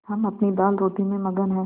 हम अपनी दालरोटी में मगन हैं